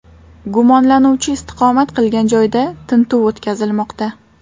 Gumonlanuvchi istiqomat qilgan joyda tintuv o‘tkazilmoqda.